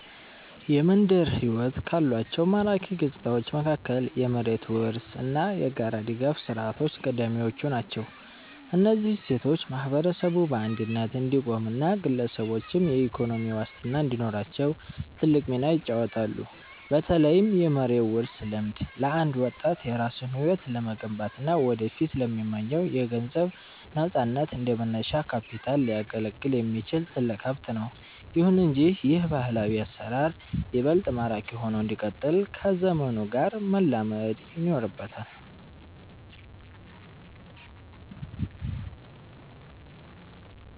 የመንደር ሕይወት ካሏቸው ማራኪ ገጽታዎች መካከል የመሬት ውርስ እና የጋራ ድጋፍ ሥርዓቶች ቀዳሚዎቹ ናቸው። እነዚህ እሴቶች ማህበረሰቡ በአንድነት እንዲቆምና ግለሰቦችም የኢኮኖሚ ዋስትና እንዲኖራቸው ትልቅ ሚና ይጫወታሉ። በተለይም የመሬት ውርስ ልምድ፣ ለአንድ ወጣት የራሱን ሕይወት ለመገንባትና ወደፊት ለሚመኘው የገንዘብ ነፃነት እንደ መነሻ ካፒታል ሊያገለግል የሚችል ትልቅ ሀብት ነው። ይሁን እንጂ ይህ ባህላዊ አሰራር ይበልጥ ማራኪ ሆኖ እንዲቀጥል ከዘመኑ ጋር መላመድ ይኖርበታል።